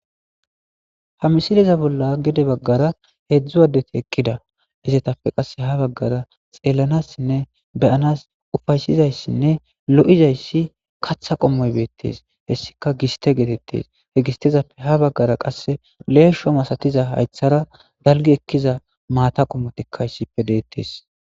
Ha missile bolla heedzdzu assathi gede eqida izzathape ha bagara xelanasine bea'nass ufyasiza loo'zaysi kaththa qomoy bethes heyssikka gisthe gethethess. He gisthezappe ha bagara qasse lesho massathiza haythara dalgi ekkida matha qomothika issipe dethes.